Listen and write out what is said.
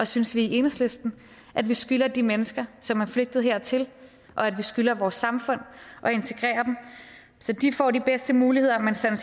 synes vi i enhedslisten at vi skylder de mennesker som er flygtet hertil og at vi skylder vores samfund at integrere dem så de får de bedste muligheder men så vi